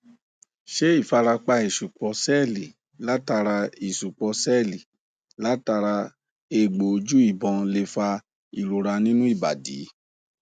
ṣé ifarapa isupo seeli latara isupo seeli latara egbo oju ìbọn lè fa ìrora nínú ibadi